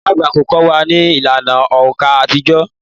Ìyá àgbà yóò kọ́ wa ní ìlànà òǹkà àtijọ́